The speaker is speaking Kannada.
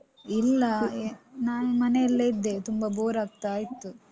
ಇಲ್ಲಾ. ನಾನ್ ಮನೆಯಲ್ಲೇ ಇದ್ದೆ. ತುಂಬ bore ಆಗ್ತಾ ಇತ್ತು.